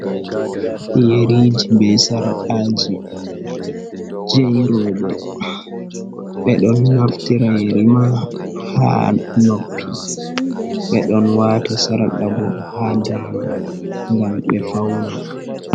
Yeriiji, be sarqaaji, je rooɓe, ɓe ɗon naftira yeri ma haa noppi, ɓe ɗon waata sarqa bo haa daande, ngam be fawna.